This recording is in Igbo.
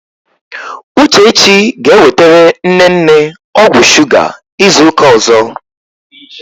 Uchechi ga-ewetere nne nne ọgwụ shuga izu ụka ọzọ.